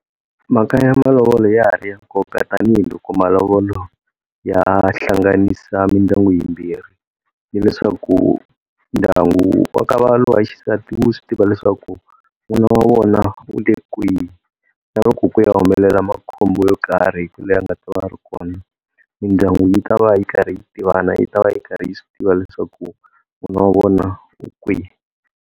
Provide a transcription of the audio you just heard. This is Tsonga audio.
Mhaka ya malovolo ya ha ri ya nkoka tanihiloko malovolo ya hlanganisa mindyangu yimbirhi. Hi leswaku ndyangu wa ka va loyi wa xisati wu swi tiva leswaku n'wana wa vona u le kwihi, na loko ku ya humelela makhombo yo karhi leni a nga ta va a ri kona mindyangu yi ta va yi karhi yi tivana yi ta va yi karhi yi swi tiva leswaku n'wana wa vona u kwihi.